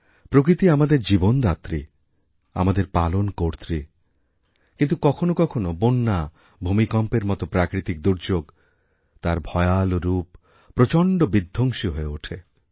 প্রকৃতি আমাদেরজীবনদাত্রী আমাদের পালনকর্ত্রী কিন্তু কখনও কখনও বন্যা ভূমিকম্পের মত প্রাকৃতিকদুর্যোগ তার ভয়াল রূপ প্রচণ্ড বিধ্বংসী হয়ে ওঠে